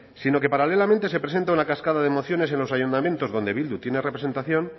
sino que paralelamente se presenta una cascada de emociones en los ayuntamientos donde bildu tiene representación